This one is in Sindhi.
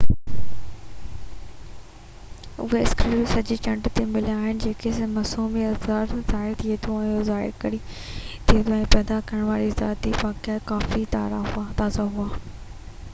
اهي اسڪريپ سڄي چنڊ تي مليا آهن ۽ گهٽ موسمي اثر ظاهر ٿئي ٿو اهو ظاهر ڪري ٿو هن کي پيدا ڪرڻ وارا ارضياتي واقعا ڪافي تازا هئا